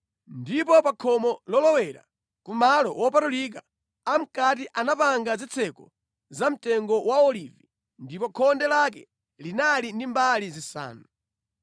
Ndipo pa khomo lolowera ku malo wopatulika amʼkati anapanga zitseko za mtengo wa olivi ndipo khonde lake linali ndi mbali zisanu.